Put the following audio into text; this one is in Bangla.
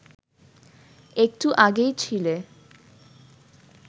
একটু আগেই ছিলে